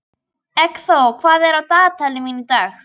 Eggþór, hvað er á dagatalinu mínu í dag?